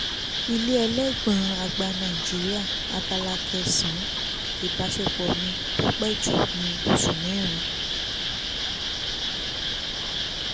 ilé elégbọ̀n-ọn àgbà nàìjíríà abala kẹsàn-án ìbásepọ̀ mi tó pé jù ní oṣù mẹ́rin